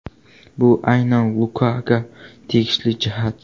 Bu aynan Lukaga tegishli jihat.